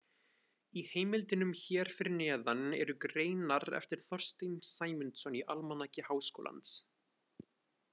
Í heimildunum hér fyrir neðan eru greinar eftir Þorstein Sæmundsson í Almanaki Háskólans.